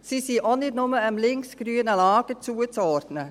Sie sind auch nicht einfach dem links-grünen Lager zuzuordnen.